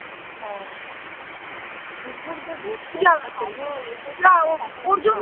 হ্যাঁ কুকুর যদি ভালো এ তে